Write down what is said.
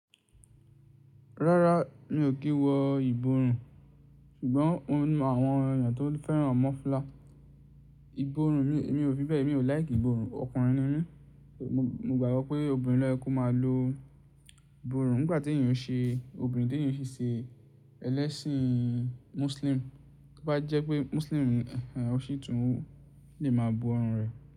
Rárá mi ò kí wọ ìborùn, ṣùgbọ́n mo mo àwọn ènìyàn tó fẹ́ràn mọ́fùlà Ìborùn mi ò fi bẹ́ẹ̀ mi ò like ìborùn. Ọkùnrin ni mí, mo gbàgbọ́ pé obìnrin ló ye ki o máa lo ìborùn nígbàtí ènìyàn ṣe obìnrin tí ènìyàn ṣe ṣe ẹlẹ́sìn Muslim. Bí bá jẹ́ pé Muslim ọṣi tún lè máa bo ọrùn rẹ̀